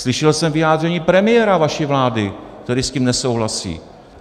Slyšel jsem vyjádření premiéra vaší vlády, který s tím nesouhlasí.